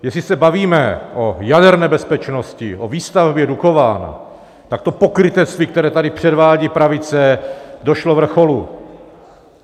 Jestli se bavíme o jaderné bezpečnosti, o výstavbě Dukovan, tak to pokrytectví, které tady předvádí pravice, došlo vrcholu.